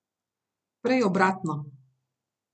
Prej obratno.